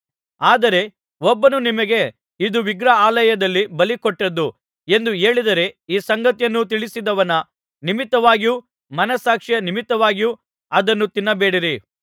ಆದರೆ ಒಬ್ಬನು ನಿಮಗೆ ಇದು ವಿಗ್ರಹಾಲಯದಲ್ಲಿ ಬಲಿಕೊಟ್ಟದ್ದು ಎಂದು ಹೇಳಿದರೆ ಈ ಸಂಗತಿಯನ್ನು ತಿಳಿಸಿದವನ ನಿಮಿತ್ತವಾಗಿಯೂ ಮನಸ್ಸಾಕ್ಷಿಯ ನಿಮಿತ್ತವಾಗಿಯೂ ಅದನ್ನು ತಿನ್ನಬೇಡಿರಿ